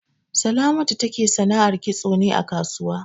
Salamatu take sanar kitso ne a kasuwa.